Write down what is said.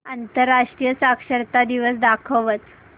आंतरराष्ट्रीय साक्षरता दिवस दाखवच